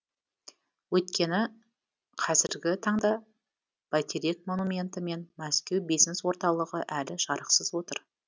өйткені қазіргі таңда бәйтерек монументі мен мәскеу бизнес орталығы әлі жарықсыз отыр